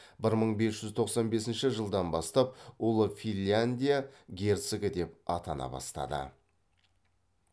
бір мың бес жүз тоқсан бесінші жылдан бастап ұлы финлинядия герцогы деп атана бастады